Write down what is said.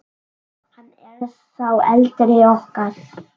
Hann er sá eldri okkar.